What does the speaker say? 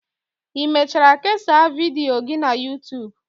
Ị mechara kesaa vidiyo gị na youtube